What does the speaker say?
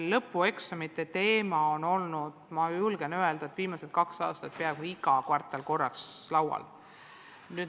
Lõpueksamite teema on viimased kaks aastat olnud peaaegu igas kvartalis korraks laual.